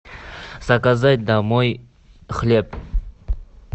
заказать домой хлеб